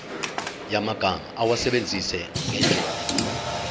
yamagama awasebenzise ngendlela